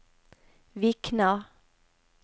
Vikna